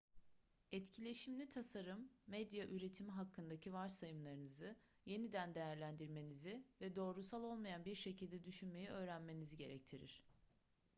etkileşimli tasarım medya üretimi hakkındaki varsayımlarınızı yeniden değerlendirmenizi ve doğrusal olmayan bir şekilde düşünmeyi öğrenmenizi gerektirir